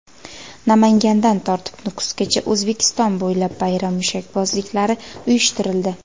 Namangandan tortib Nukusgacha: O‘zbekiston bo‘ylab bayram mushakbozliklari uyushtirildi .